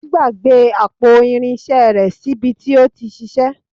Ó gbàgbé àpò irinṣẹ́ rẹ̀ sí bi tí ó ti ṣiṣẹ́.